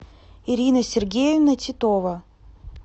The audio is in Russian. ирина сергеевна титова